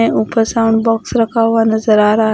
है ऊपर sound box रखा हुआ नजर आ रहा--